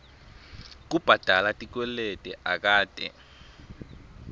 kubhadala tikweleti akate